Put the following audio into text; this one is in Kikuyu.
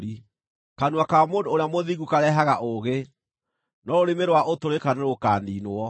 Kanua ka mũndũ ũrĩa mũthingu karehaga ũũgĩ, no rũrĩmĩ rwa ũtũrĩka nĩrũkaniinwo.